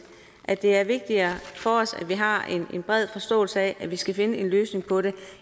at det er vigtigere for os at vi har en bred forståelse af at vi skal finde en løsning på det